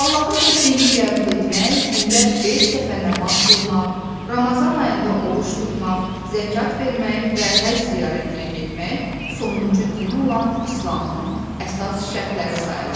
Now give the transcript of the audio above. Allahın təkliyini qəbul etmək, gündə beş dəfə namaz qılmaq, Ramazan ayında oruc tutmaq, zəkat vermək və həcc ziyarətinə getmək sonuncu din olan İslamın əsas şərtləri sayılır.